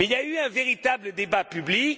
Mais il y a eu un véritable débat public.